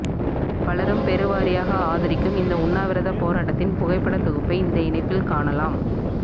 பலரும் பெருவாரியாக ஆதரிக்கும் இந்த உண்ணாவிரதப் போராட்டத்தின் புகைப்படத் தொகுப்பை இந்த இணைப்பில் காணலாம்